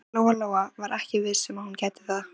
Lóa-Lóa var ekki viss um að hún gæti það.